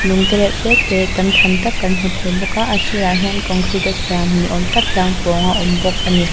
lung tereuh tete tam tham tak kan hmu thei bawk a a sirah hian concrete a siam ni awm tak tlang pawng a awm bawk ani.